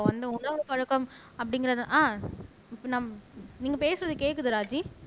இப்ப வந்து உணவு பழக்கம் அப்படிங்கிறது ஆஹ் நீங்க பேசுறது கேட்குது ராஜி